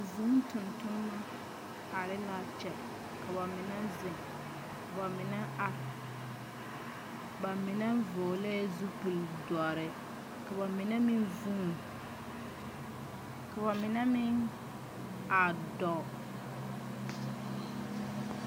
Vūū tontonneba are la a kyɛ ka ba mine zeŋ ka ba mine are ba mine vɔgle zupili dɔre ba mine meŋ vuuni ka ba mine meŋ a dɔɔ.